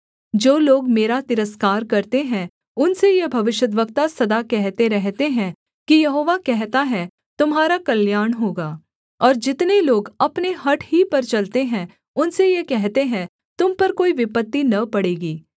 जो लोग मेरा तिरस्कार करते हैं उनसे ये भविष्यद्वक्ता सदा कहते रहते हैं कि यहोवा कहता है तुम्हारा कल्याण होगा और जितने लोग अपने हठ ही पर चलते हैं उनसे ये कहते हैं तुम पर कोई विपत्ति न पड़ेगी